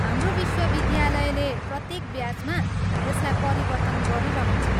हाम्रो विश्वविद्यालयले प्रत्येक ब्याचमा यसलाई परिवर्तन गरिरहन्छ।